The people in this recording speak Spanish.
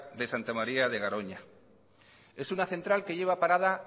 de santa maría de garoña es una central que lleva parada